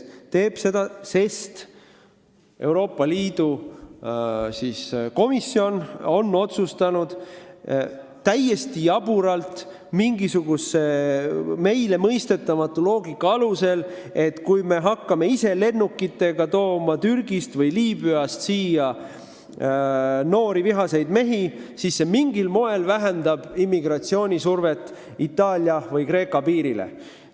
Ta teeb seda, sest Euroopa Komisjon on otsustanud täiesti jaburalt, mingisuguse meile mõistetamatu loogika alusel, et kui me hakkame ise lennukitega Türgist või Liibüast siia noori vihaseid mehi tooma, siis see mingil moel vähendab immigratsioonisurvet Itaalia või Kreeka piirile.